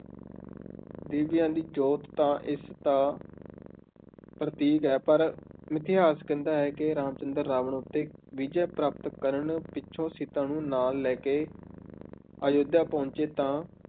ਦੀਵਿਆਂ ਦੀ ਜੋਤ ਤਾਂ ਇਸ ਦਾ ਪ੍ਰਤੀਕ ਹੈ, ਪਰ ਮਿਥਿਹਾਸ ਕਹਿੰਦਾ ਹੈ ਕਿ ਰਾਮ ਚੰਦਰ ਰਾਵਣ ਉੱਤੇ ਵਿਜੈ ਪ੍ਰਾਪਤ ਕਰਨ ਪਿੱਛੋਂ ਸੀਤਾ ਨੂੰ ਨਾਲ ਲੈ ਕੇ ਅਯੋਧਿਆ ਪਹੁੰਚੇ ਤਾਂ